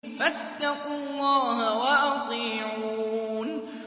فَاتَّقُوا اللَّهَ وَأَطِيعُونِ